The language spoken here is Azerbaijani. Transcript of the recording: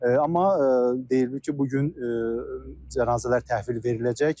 Amma deyilib ki, bu gün cənazələr təhvil veriləcək.